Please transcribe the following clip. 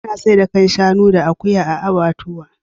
Ana saida kan shanu da akuya a abbatuwa.